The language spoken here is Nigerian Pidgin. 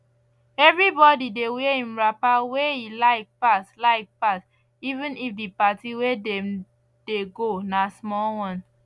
everybody dey wear im wrapper wey e like pass like pass even if d party wey dem dey go na small wan